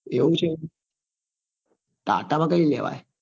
એવું છે ટાટા માં કઈ લેવાય?